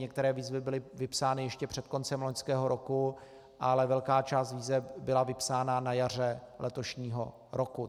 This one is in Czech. Některé výzvy byly vypsány ještě před koncem loňského roku, ale velká část výzev byla vypsána na jaře letošního roku.